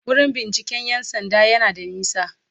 Wurin binciken 'yan sanda yana da nisa.*